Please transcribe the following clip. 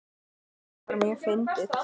Þetta var mjög fyndið.